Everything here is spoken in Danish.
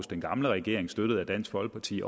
den gamle regering støttet af dansk folkeparti